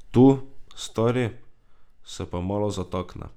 Tu, stari, se pa malo zatakne.